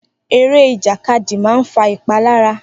Eré ìjàkadì máa ń fa ìpalára.